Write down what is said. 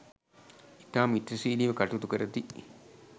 ඉතා මිත්‍රශීලීව කටයුතු කරති